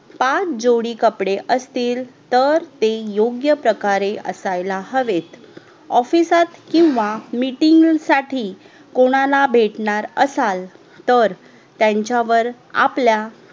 पाच जोडी कपडे असतील तर ते योग्य प्रकारे असायला हवेत OFFICE सात किव्हा MEETING साठी कोणाला भेटणार असाल तर त्यांच्यावर आपल्या